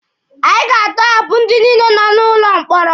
Anyị ga-atọhapụ ndị niile nọ n'ụlọ mkpọrọ.